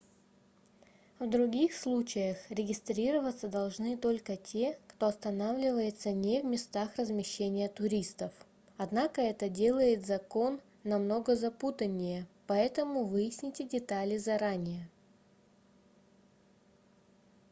в других случаях регистрироваться должны только те кто останавливается не в местах размещения туристов однако это делает закон намного запутаннее поэтому выясните детали заранее